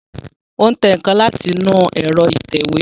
Ó tẹ nǹkan láti inú ẹ̀rọ ìtẹ̀wé